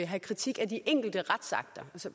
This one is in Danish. have kritik af de enkelte retsakter så